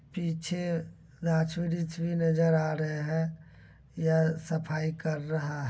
पीछे नजर आ रहे हैं। यह सफाई कर रहा --